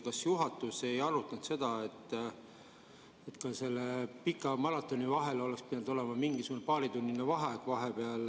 Kas juhatus ei arutanud seda, et selle pika maratoni vahel oleks pidanud olema mingisugune paaritunnine vaheaeg?